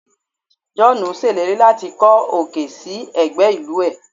Joonu seleri lati ko okay so egbe ilu e